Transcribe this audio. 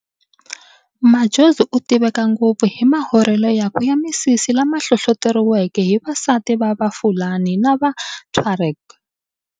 Madjozi u tiveka ngopfu hi mahorhele yakwe ya misisi lama hlohloteriweke hi vasati va va Fulani na va Tuareg.